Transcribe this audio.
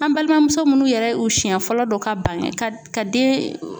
An balimamuso minnu yɛrɛ u siyɛn fɔlɔ do ka ban ka den